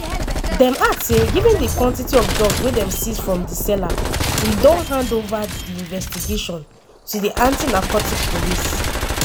dem add say “given di quantity of drugs wey dem seize from di seller we don hand ova di investigation to di anti-narcotics police.”